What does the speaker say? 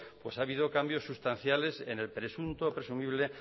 pues ha habido cambios sustanciales en el presunto o presumible